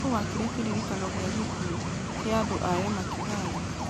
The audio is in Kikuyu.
Nũũ waakire Kĩririkano gĩa Gĩkuũ ya andũ a yama ya Kigali